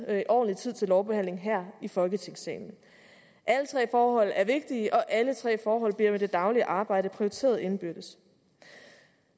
er ordentlig tid til lovbehandlingen her i folketingssalen alle tre forhold er vigtige og alle tre forhold bliver med det daglige arbejde prioriteret indbyrdes